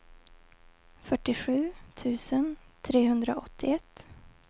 fyrtiosju tusen trehundraåttioett